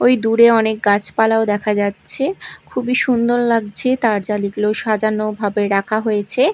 ওই দূরে অনেক গাছপালাও দেখা যাচ্ছে খুবই সুন্দর লাগছে তারজালিগুলো সাজানো ভাবে রাখা হয়েছে।